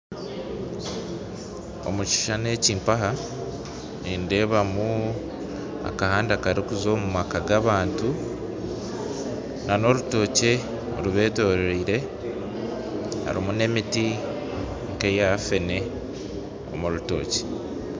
Omu kishushani eki nindeebamu akahanda karikuza omu maka g'abantu n'orutookye rubeetoreire hamwe n'emiti nk'eya feene omurutookye